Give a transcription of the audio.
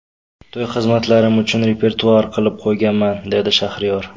To‘y xizmatlarim uchun repertuar qilib qo‘yganman”, dedi Shahriyor.